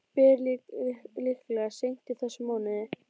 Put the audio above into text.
Ber líklega seint í þessum mánuði.